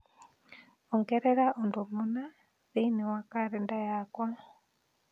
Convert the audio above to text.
ongerera ũndũ mũna thĩinĩ wa kalenda yakwa